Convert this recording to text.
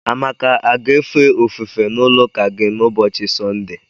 Amaka a ga-efe ofufe n'ụlọụka gị n'ụbochị Sọnde?